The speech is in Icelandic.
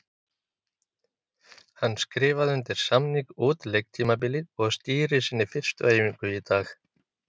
Hann skrifaði undir samning út leiktímabilið og stýrir sinni fyrstu æfingu í dag.